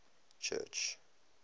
church